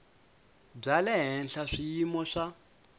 bya le henhla swiyimo swa